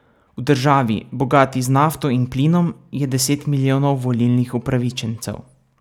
V državi, bogati z nafto in plinom, je deset milijonov volilnih upravičencev.